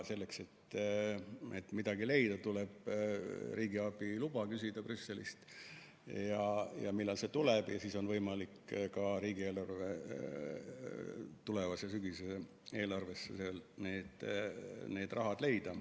Selleks, et midagi leida, tuleb riigiabiluba küsida Brüsselist, aga millal see ükskord tuleb, ja siis on võimalik ka tulevase sügise riigieelarvesse veel need vahendid leida.